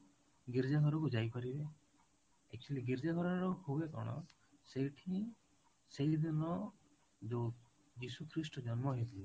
ଗୀର୍ଜା ଘରକୁ ଯାଇପାରିବେ actually ଗୀର୍ଜା ଘର ରେ ହୁଏ କଣ ସେଇଠି ସେଇ ଦିନ ଯୋଉ ଯୀଶୁ ଖ୍ରୀଷ୍ଟ ଜନ୍ମ ହେଇଥିଲେ